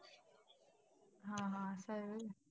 हा हा, असंय व्हय.